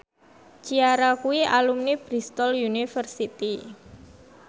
Ciara kuwi alumni Bristol university